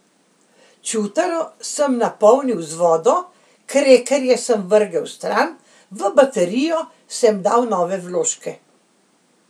Čutaro sem napolnil z vodo, krekerje sem vrgel stran, v baterijo sem dal nove vložke.